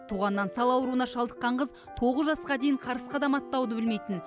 туғаннан сал ауруына шалдыққан қыз тоғыз жасқа дейін қарыс қадам аттауды білмейтін